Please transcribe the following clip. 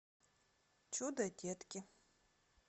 чудо детки